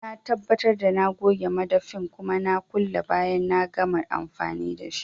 Sai na tabbatar da na goge madafin kuma na kulle bayan na gama amfani dashi